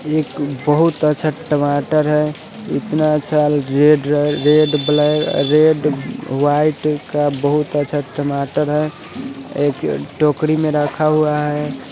एक बहुत अच्छा टमाटर है इतना अच्छा रेड रेड ब रेड ब्लैक रेड वाइट का बहुत अच्छा टमाटर है एक टोकरी में रखा हुआ है।